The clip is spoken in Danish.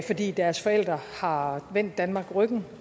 fordi deres forældre har vendt danmark ryggen